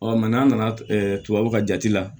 n'an nana tubabuw ka jate la